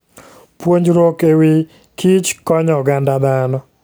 Puonjruok e wi kichkonyo oganda dhano.